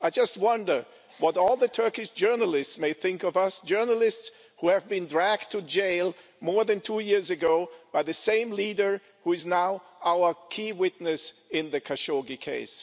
I just wonder what all the Turkish journalists may think of us journalists who were dragged to jail more than two years ago by the same leader who is now our key witness in the Khashoggi case.